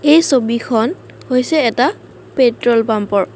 এই ছবিখন হৈছে এটা পেট্ৰল পাম্পৰ।